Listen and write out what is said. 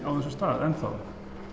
á þessum stað enn þá